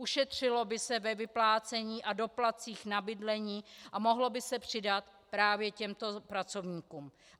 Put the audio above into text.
Ušetřilo by se ve vyplácení a doplatcích na bydlení a mohlo by se přidat právě těmto pracovníkům.